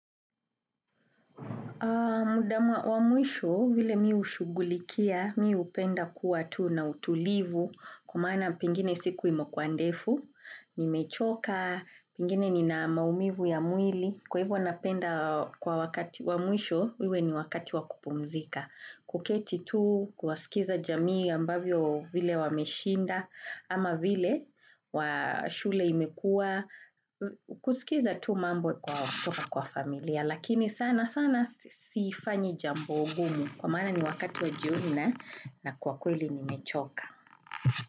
Mdama wa mwisho, vile mi ushugulikia, mi upenda kuwa tu na utulivu, kwa maana pengine siku imekua ndefu, nimechoka, pengine nina maumivu ya mwili, kwa hivo napenda kwa wakati wa mwisho, iwe ni wakati wa kupumzika. Kuketi tu, kuasikiza jamii ambavyo vile wameshinda ama vile wa shule imekua, kusikiza tu mambo kwa familia lakini sana sana sifanyi jambo ngumu kwa maana ni wakati wa jioni na kwa kweli nimechoka.